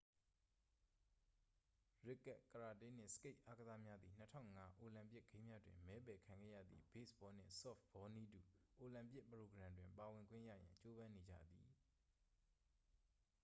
ရစ်ကတ် ကရာတေးနှင့် စကိတ်အာကစားများသည် 2005 အိုလံပစ်ဂိမ်းများတွင် မဲပယ်ခံခဲ့ရသည့် ဘေ့စ်ဘောနှင့် ဆော့ဖ်ဘောနည်းတူ အိုလံပစ်ပရိုဂရမ်တွင် ပါဝင်ခွင့်ရရန် ကြိုးပမ်းနေကြသည်